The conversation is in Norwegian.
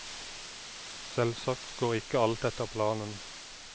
Selvsagt går ikke alt etter planen.